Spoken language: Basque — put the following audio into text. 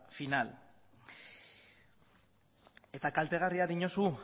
final eta kaltegarria diozu